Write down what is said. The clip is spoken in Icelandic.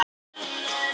Bréfmiðinn í gatinu.